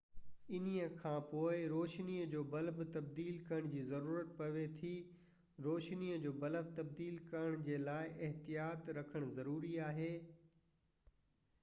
انهيءِ کانپوءِ روشني جو بلب تبديل ڪرڻ جي ضرورت پوي ٿي روشني جو بلب تبديل ڪرڻ جي لاءِ احتياط رکڻ ضروري آهي